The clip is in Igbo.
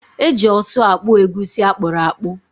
Eji ọsụ akpụ egusi akpụrụakpụ.